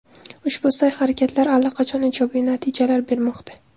Ushbu sa’y-harakatlar allaqachon ijobiy natijalar bermoqda.